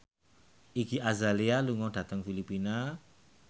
Iggy Azalea lunga dhateng Filipina